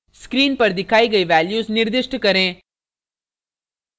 screen पर दिखाई गई values निर्दिष्ट करें